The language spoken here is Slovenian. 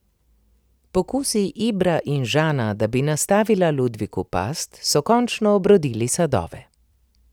Pokusi Ibra in Žana, da bi nastavila Ludviku past, so končno obrodili sadove.